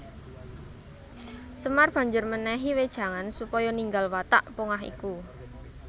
Semar banjur mènèhi wejangan supaya ninggal watak pongah iku